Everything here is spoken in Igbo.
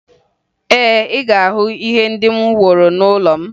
Ee, ị ga-ahụ ihe ndị m woro n'ụlọ m